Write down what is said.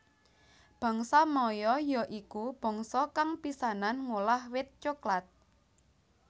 Bangsa Maya ya iku bangsa kang pisanan ngolah wit coklat